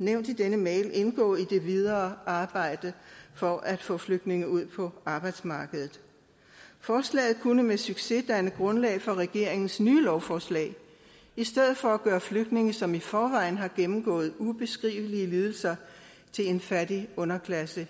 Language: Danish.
nævnt i denne mail indgå i det videre arbejde for at få flygtninge ud på arbejdsmarkedet forslaget kunne med succes danne grundlag for regeringens nye lovforslag i stedet for at gøre flygtninge som i forvejen har gennemgået ubeskrivelige lidelser til en fattig underklasse